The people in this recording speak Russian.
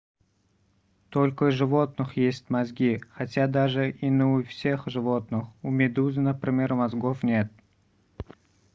только у животных есть мозги хотя даже и не у всех животных; у медузы например мозгов нет